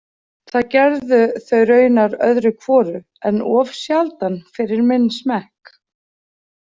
Það gerðu þau raunar öðru hvoru, en of sjaldan fyrir minn smekk.